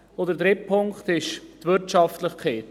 Der dritte Punkt ist die Wirtschaftlichkeit.